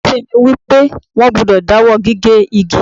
Òfin mi ni wípé, wón gbúdọ̀ dáwọ́ gígé igi.